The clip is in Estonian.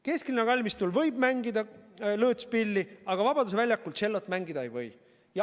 Kesklinna kalmistul võib mängida lõõtspilli, aga Vabaduse väljakul tšellot mängida ei või.